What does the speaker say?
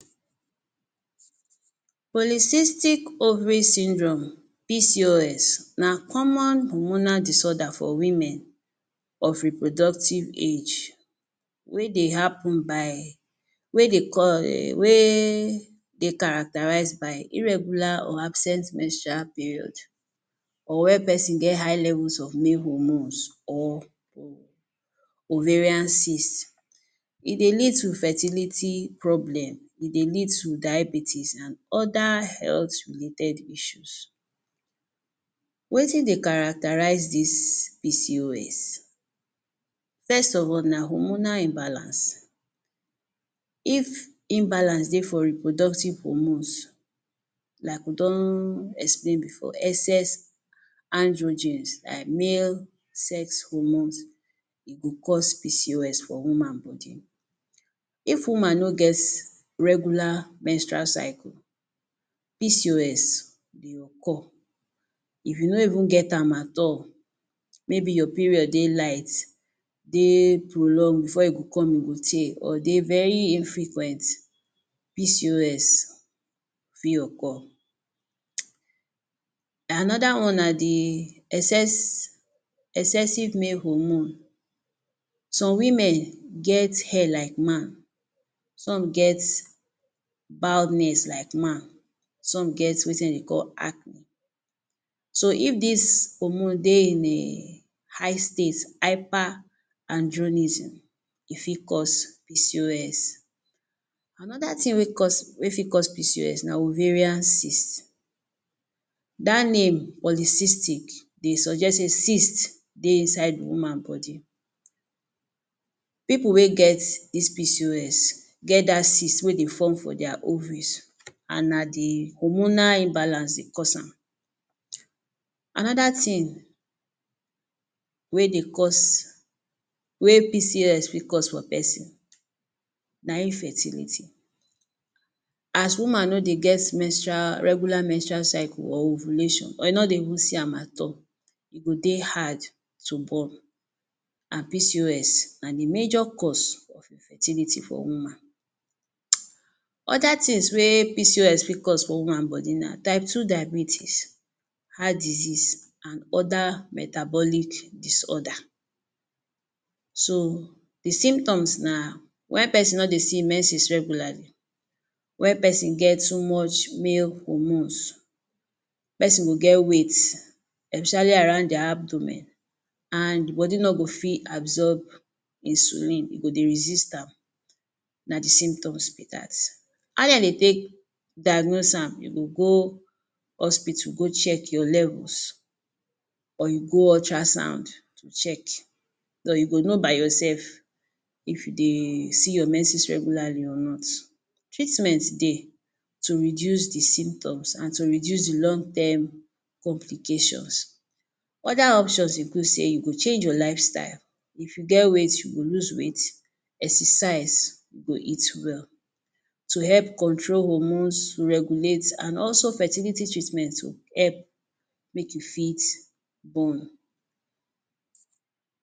Polycystic Ovary Syndrome PCOS na common hormonal disorder for women of reproductive age wey dey happen by wey dey wey dey characterize by irregular or absent menstrual period or where peson get high levels of male hormones or oh ovarian cyst. E dey lead to fertility problem, e dey lead to diabetes, an other health related issues. Wetin dey characterize dis PCOS? First of all na hormonal imbalance. If imbalance dey for reproductive hormones, like we don explain before, excess androgens like male sex hormones, e go cause PCOS for woman body. If woman no get regular menstrual cycle, PCOS dey occur. If you no even get am at all, maybe your period dey light, dey prolong, before e go come e go tey, or dey very infrequent, PCOS fit occur. Another one na the excess excessive male hormone. Some women get hair like man. Some get baldness like man. Some get wetin de dey call acne. So, if dis hormone dey in a high state —hyper andronism— e fit cause PCOS. Another tin wey cause wey fit cause PCOS na ovarian cyst. Dat name, Polycystic, dey suggest sey cyst dey inside woman body. Pipu wey get dis PCOS get dat cyst wey dey form for dia ovaries an na the hormonal imbalance dey cause am. Another tin wey dey cause wey PCOS fit cause for peson na infertility. As woman no dey get menstrual regular menstrual cycle or ovulation or e no dey even see am at all, e go dey hard to born. An PCOS na the major cause of infertility for woman. [hiss] Other tins wey PCOS wey fit cause for woman body na type two diabetes, heart disease, an other metabolic disorder. So, the symptoms na wen peson no dey see menses regularly, wen peson get too much male hormones, peson go get weight, especially around dia abdomen, an body no go fit absorb insulin—e go dey resist am. Na the symptoms be dat. How de dey take diagnose am? You go go hospital go check your levels or you go ultrasound to check or you go know by yoursef if you dey see your menses regularly or not. Treatment dey to reduce the symptoms an to reduce the long term complications. Other options include sey you go change your lifestyle. If you get weight, you go lose weight, exercise go hit well to help control hormones, to regulate, an also fertility treatment to help make you fit born.